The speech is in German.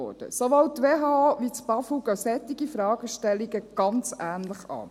Sowohl die WHO als auch das BAFU gehen solche Fragestellungen ganz ähnlich an: